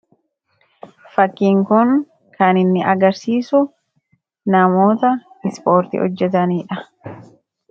Fakkiin kun kan inni agarsiisu namoota ispoortii hojjetanidha.